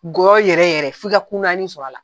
Gɔyɔ yɛrɛ yɛrɛ f'i ka kunnayani sɔrɔ a la.